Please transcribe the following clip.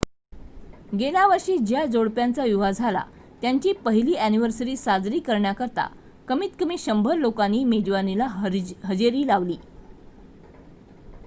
गेल्या वर्षी ज्या जोडप्याचा विवाह झाला त्यांची पहिली अ‍ॅनिव्हर्सरी साजरी करण्याकरिता कमीत कमी 100 लोकांनी मेजवानीला हजेरी लावली